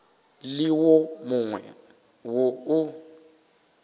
le wo mongwe wo o